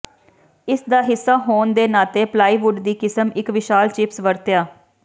ਇਸ ਦਾ ਹਿੱਸਾ ਹੋਣ ਦੇ ਨਾਤੇ ਪਲਾਈਵੁੱਡ ਦੀ ਕਿਸਮ ਇੱਕ ਵਿਸ਼ਾਲ ਚਿਪਸ ਵਰਤਿਆ